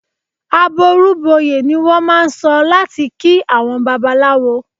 "Àbọrú bọyè" ni wọ́n máà ń sọ láti kí àwọn Babaláwo.